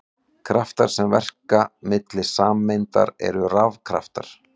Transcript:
Kraftar sem verka milli sameinda eru rafkraftar.